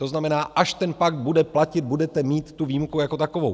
To znamená, až ten pakt bude platit, budete mít tu výjimku jako takovou.